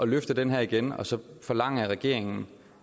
løfte den her igen og så forlange af regeringen